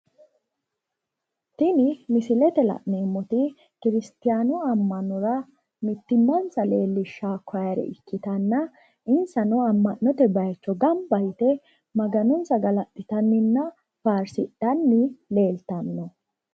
Tini misilete la'neemmoti kiristiyaanu ammanora mittimmansa leellishshawo kowaare ikkitanna insano amma'note bayiichcho ganba yite maganonsa galaxxitanninna faarsidhanni leeltanno